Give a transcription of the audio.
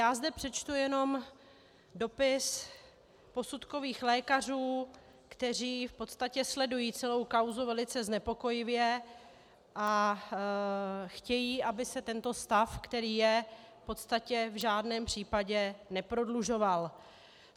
Já zde přečtu jenom dopis posudkových lékařů, kteří v podstatě sledují celou kauzu velice znepokojeně a chtějí, aby se tento stav, který je, v podstatě v žádném případě neprodlužoval.